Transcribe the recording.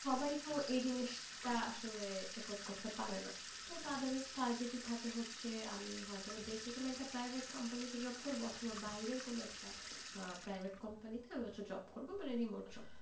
সবাই তো এই জিনিস টা আসলে afford করতে পারে না, তো তাদের target ই থাকে হচ্ছে, আমি হয়তো বা দেশে কোন একটা private company তে job করবো, অথবা বাইরের কোন একটা আহ private company তে আমি একটা job করবো, মানে remote job,